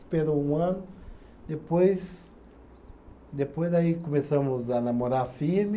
Esperou um ano, depois. Depois aí começamos a namorar firme,